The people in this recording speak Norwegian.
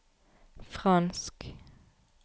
fransk